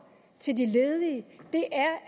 til de ledige